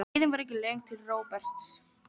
Leiðin var ekki löng til Róberts.